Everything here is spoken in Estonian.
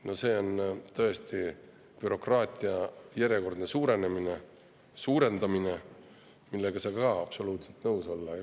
Need tähendavad tõesti bürokraatia järjekordset suurendamist, millega ei saa ka absoluutselt nõus olla.